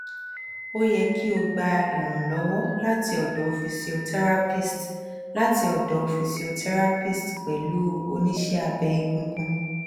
o ye ki o gba iranlowo lati odo physiotherapist lati odo physiotherapist pelu onise abe egungun